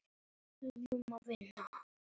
Hvernig vilt þú hafa þetta?